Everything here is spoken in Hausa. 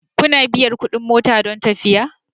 Kuna biyan kuɗin mota don tafiya.